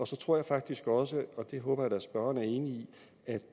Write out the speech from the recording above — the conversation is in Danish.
så tror jeg faktisk også og det håber jeg da at spørgeren er enig